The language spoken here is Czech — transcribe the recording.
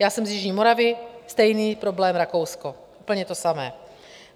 Já jsem z jižní Moravy - stejný problém Rakousko, úplně to samé.